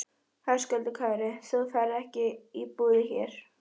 Höskuldur Kári: Þú ferð ekki í búðir hér?